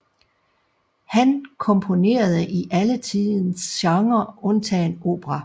Han komponerede i alle tidens genrer undtagen opera